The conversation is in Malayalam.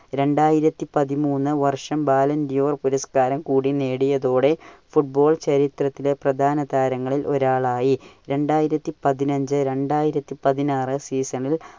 രണ്ടായിരത്തി പതിമൂന്നു വർഷം ബാലാന്റിയോർ പുരസ്‌കാരം കൂടി നേടിയതോടെ football ചരിത്രത്തിൽ പ്രധാന താരങ്ങളിൽ ഒരാളായി. രണ്ടായിരത്തി പതിനഞ്ചു രണ്ടായിരത്തി പതിനാറു season ൽ